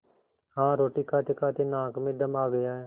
हाँ रोटी खातेखाते नाक में दम आ गया है